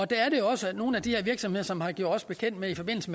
der er også nogle af de her virksomheder som har gjort os bekendt med i forbindelse